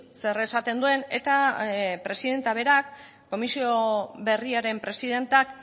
zer esaten duen eta presidentea berak komisio berriaren presidenteak